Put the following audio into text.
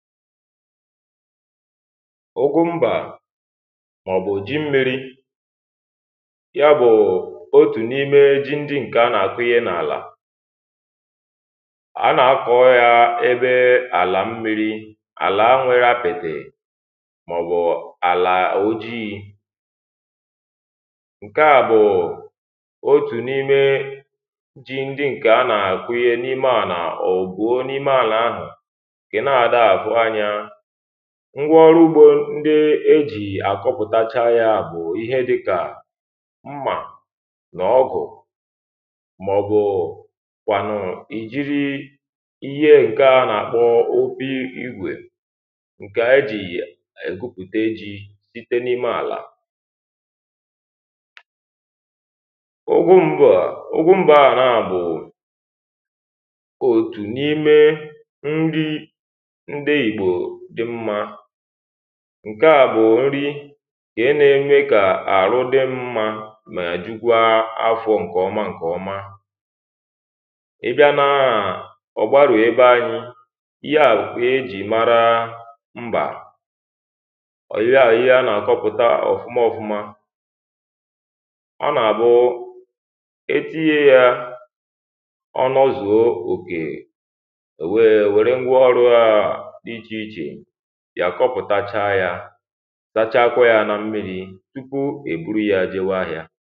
ụgụmbà mà ọ̀ bụ̀ ji mmiri ya bụ̀ otù n’ime ji ndi ǹke anà-àkụ ihe n’àlà ànà-àkọ ya ebe àlà mmi̇ri̇ àlà a nwere apìtì màọ̀bụ̀ àlà ọ̀jighi ǹke à bụ̀ otù n’ime ji ndi ǹkè anà-àkụ ihe n’ime ànà ọ̀bụ̀o n’ime àlà ahụ̀ ngwa ọrụ ugbȯ ndị ejì àkọpụ̀tacha ya bụ̀ ihe dịkà mmà nà ọgụ̀ màọ̀bụ̀ kwànụ̀ ìjiri ihe ǹkè a nà-àkpọ obi̇ igwè ǹkè ejì ègupùte ji site n’ime àlà ǹkeà bụ̀ nri kà ẹ nẹẹnyẹ kà àrụ di mmȧ mà àjụkwa afọ ǹkẹ̀ ọma ǹkẹ̀ ọma ị bịa nȧ ọ̀ gbarù ebe anyị ihe à bụ̀ ihe à jì mara mbà ọ̀ yie à yie a nà-àkọpụ̀ta ọ̀fụma ọfụma ọ nà àbụ etinyẹ yȧ ọnụzùo òkè sachaa akwụ ya na mmiri tupu e buru ya ajawa ahịa